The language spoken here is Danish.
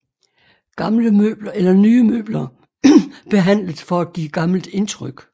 Gamle møbler eller nye møbler behandlet for at give gammelt indtryk